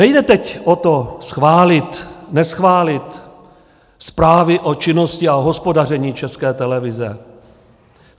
Nejde teď o to schválit, neschválit zprávy o činnosti a o hospodaření České televize.